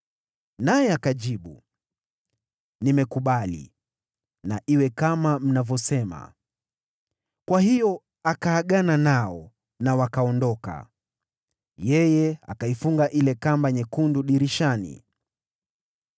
Naye akajibu, “Nimekubali. Na iwe kama mnavyosema.” Kwa hiyo akaagana nao, nao wakaondoka. Yeye akaifunga ile kamba nyekundu dirishani.